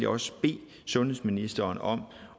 også bede sundhedsministeren om